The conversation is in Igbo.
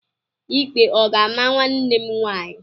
Ikpe ọ ga-ama nwanne m nwaanyị?